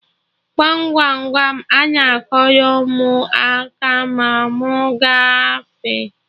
Gwam Gwam Gwam, ana akụrụ mụ aka ma mụ gafee